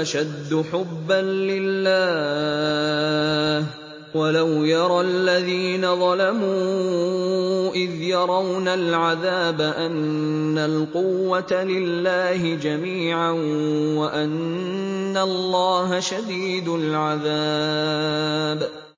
أَشَدُّ حُبًّا لِّلَّهِ ۗ وَلَوْ يَرَى الَّذِينَ ظَلَمُوا إِذْ يَرَوْنَ الْعَذَابَ أَنَّ الْقُوَّةَ لِلَّهِ جَمِيعًا وَأَنَّ اللَّهَ شَدِيدُ الْعَذَابِ